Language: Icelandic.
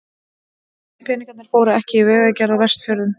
Nei, peningarnir fóru ekki í vegagerð á Vestfjörðum.